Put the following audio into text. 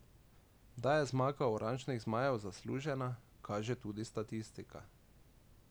Da je zmaga oranžnih zmajev zaslužena, kaže tudi statistika.